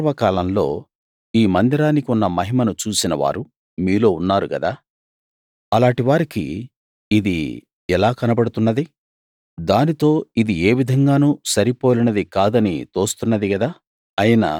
పూర్వకాలంలో ఈ మందిరానికి ఉన్న మహిమను చూసినవారు మీలో ఉన్నారు గదా అలాటి వారికి ఇది ఎలా కనబడుతున్నది దానితో ఇది ఏ విధంగానూ సరి పోలినది కాదని తోస్తున్నది గదా